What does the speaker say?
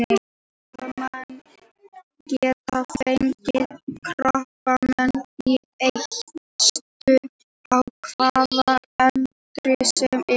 Karlmenn geta fengið krabbamein í eistu á hvaða aldri sem er.